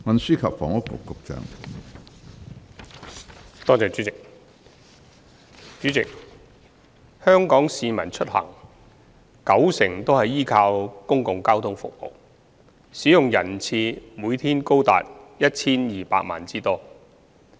主席，香港市民出行九成都是依靠公共交通服務，使用人次每天達 1,200 萬之多。